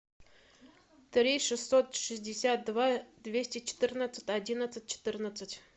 три шестьсот шестьдесят два двести четырнадцать одиннадцать четырнадцать